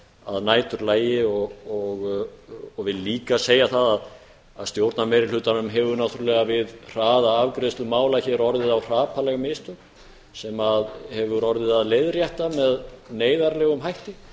að næturlagi og vil líka segja það að stjórnar meiri hlutanum hefur náttúrulega við hraða afgreiðslu mála hér orðið á hrapalleg mistök sem hefur orðið að leiðrétta með neyðarlegum hætti